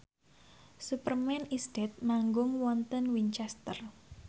Superman is Dead manggung wonten Winchester